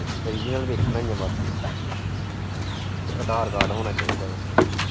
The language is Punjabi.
original ਵੇਖਣਾ ਹੀ ਹੈ ਬਸ ਉਹਨਾਂ ਨੇ ਤੇ ਅਧਾਰ ਕਾਰਡ ਹੋਣਾ ਚਾਹੀਦਾ ਹੈ।